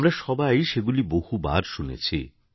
আমরা সবাই সেগুলি বহুবার শুনেছি